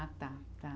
Ah, tá, tá.